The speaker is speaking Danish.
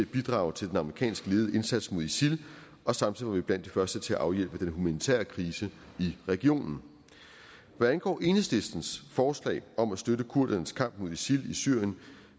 bidrage til den amerikansk ledede indsats mod isil og samtidig var vi blandt de første til at afhjælpe den humanitære krise i regionen hvad angår enhedslistens forslag om at støtte kurdernes kamp mod isil i syrien